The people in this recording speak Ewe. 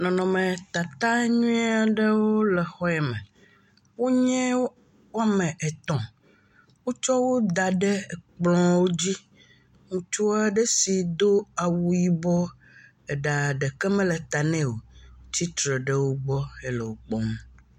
Nɔnɔmetata nyuie aɖewo le xɔame, wonye wome et, wotsɔwo da ɖe ekplwo dzi. Ŋutsu aɖe si do awu yibɔ, eɖa ɖeke mele ta ne o tsitre ɖe wogbɔ hele wokpɔm.